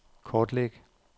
kortlæg